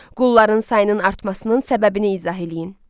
Qulların sayının artmasının səbəbini izah eləyin.